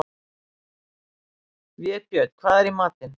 Vébjörn, hvað er í matinn?